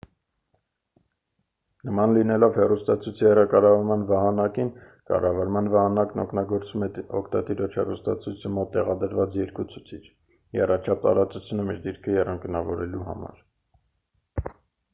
նման լինելով հեռուստացույցի հեռակառավարման վահանակին կառավարման վահանակն օգտագործում է օգտատիրոջ հեռուստացույցի մոտ տեղադրված երկու ցուցիչ եռաչափ տարածությունում իր դիրքը եռանկյունավորելու համար